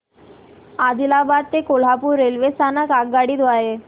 आदिलाबाद ते कोल्हापूर रेल्वे स्थानक आगगाडी द्वारे